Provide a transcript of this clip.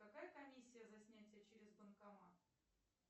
какая комиссия за снятие через банкомат